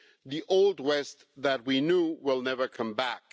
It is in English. The Old West that we knew will never come back.